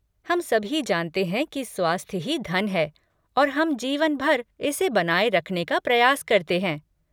हम सभी जानते हैं कि स्वास्थ्य ही धन है, और हम जीवन भर इसे बनाए रखने का प्रयास करते हैं।